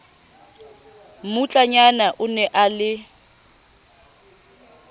mmutlanyana o ne a le